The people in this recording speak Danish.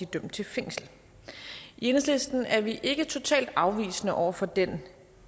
dømt til fængsel i enhedslisten er vi ikke totalt afvisende over for den